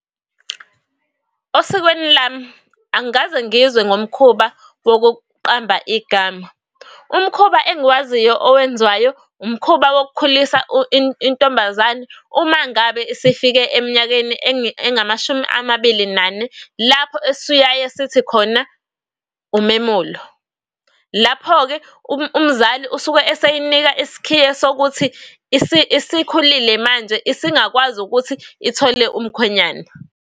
Osikweni lami angikaze ngizwe ngomkhuba wokuqamba igama. Umkhuba engiwaziyo owenziwayo umkhuba wokukhulisa intombazane. Uma ngabe sifike eminyakeni engamashumi amabili nane lapho esiyaye sithi khona umemulo. Lapho-ke umzali usuke eseyinika isikhiye sokuthi isikhulile manje esingakwazi ukuthi ithole umkhwenyana.